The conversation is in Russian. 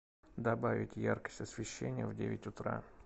добавить яркость освещения в девять утра